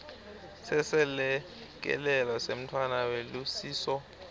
seselekelelo semntfwana welusiso